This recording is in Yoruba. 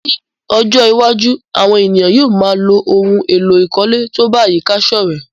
Ní ojó iwájú, àwon èèyàn yio má a ló oun èló ìkólé to ba àyíká sòrẹ́